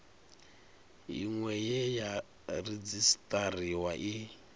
iṅwe ye ya redzisiṱariwa i